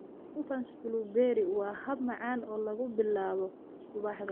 Muffins blueberry waa hab macaan oo lagu bilaabo subaxda.